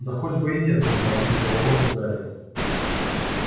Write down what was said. да хоть бы и нет дружно ответили рон с гарри